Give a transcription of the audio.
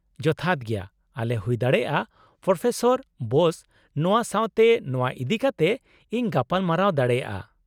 ᱡᱚᱛᱷᱟᱛ ᱜᱮᱭᱟ, ᱟᱞᱮ ᱦᱩᱭ ᱫᱟᱲᱮᱭᱟᱜᱼᱟ ᱯᱨᱚᱯᱷᱮᱥᱚᱨ ᱵᱳᱥ ᱱᱚᱶᱟ ᱥᱟᱶᱛᱮ ᱱᱚᱶᱟ ᱤᱫᱤ ᱠᱟᱛᱮᱫ ᱤᱧ ᱜᱟᱯᱟᱞᱢᱟᱨᱟᱣ ᱫᱟᱲᱮᱭᱟᱜᱼᱟ ᱾